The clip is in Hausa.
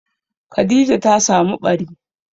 Khadija ta samu ɓari.